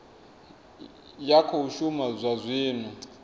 ya khou shuma zwa zwino